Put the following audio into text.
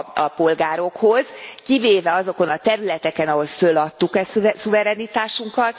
a polgárokhoz, kivéve azokon a területeken, ahol föladtuk a szuverenitásunkat.